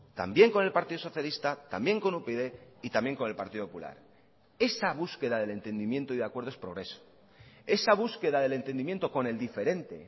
también con el partido socialista también con upyd y también con el partido popular esa búsqueda del entendimiento y de acuerdo es progreso esa búsqueda del entendimiento con el diferente